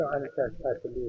Hər ikisi təhsil idi.